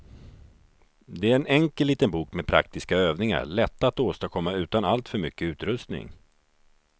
Det är en enkel liten bok med praktiska övningar, lätta att åstadkomma utan alltför mycket utrustning.